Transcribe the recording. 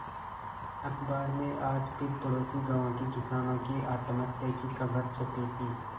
अखबार में आज फिर पड़ोसी गांवों के किसानों की आत्महत्या की खबर छपी थी